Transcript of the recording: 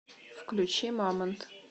включи мамонт